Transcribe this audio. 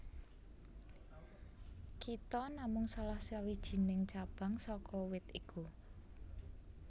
Kita namung salah sawijining cabang saka wit iku